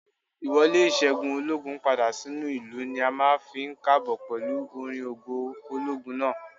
Ì wọlé ìṣẹ́gun ológun padà sínú ìlú ni a máa ń fi k'ààbò pẹ̀lú orin ògo ológun náà